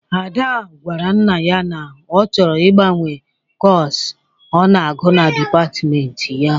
Ada gwara nna ya na ọ chọrọ ị gbanwe kọs ọ na-agụ na dịpatmenti ya.